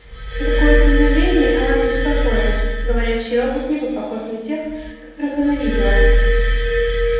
на какое-то мгновение она забеспокоилась говорящий робот не бы похож на тех которых она видела